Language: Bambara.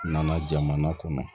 N nana jamana kɔnɔ